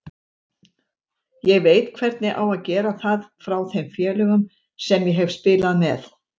Ég veit hvernig á að gera það frá þeim félögum sem ég hef spilað með.